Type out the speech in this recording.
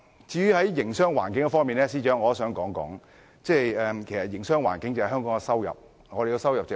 至於營商環境方面，司長，營商環境如何，香港的收入也如何。